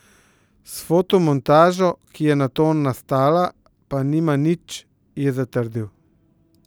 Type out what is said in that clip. S fotomontažo, ki je nato nastala, pa nima nič, je zatrdil.